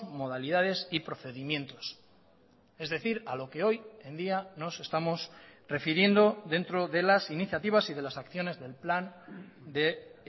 modalidades y procedimientos es decir a lo que hoy en día nos estamos refiriendo dentro de las iniciativas y de las acciones del plan de